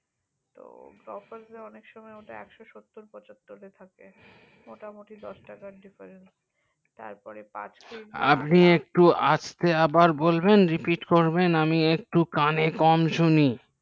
তো Grofers গুলো অনেক সময় ওটা একশো সত্তর পঁচাত্তর এ থেকে মোটামুটি দশ টাকার difference তার পরে পাঁচ কেজি আপনি কি আর একবার বলবেন আমি একটু repeat করবেন আমি একটু কানে কম শুনি